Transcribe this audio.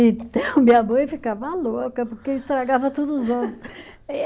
Então, minha mãe ficava louca porque estragava todos os ovos.